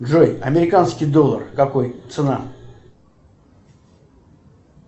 джой американский доллар какой цена